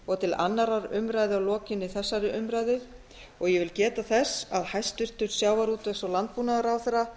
og til annarrar umræðu að lokinni þessari umræðu ég vil geta þess að hæstvirtur sjávarútvegs og landbúnaðarráðherra